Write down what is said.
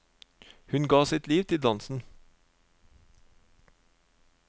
Hun ga sitt liv til dansen.